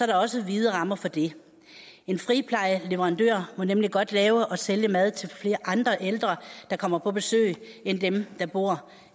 der også vide rammer for det en friplejeleverandør må nemlig godt lave og sælge mad til flere andre ældre ældre der kommer på besøg end dem der bor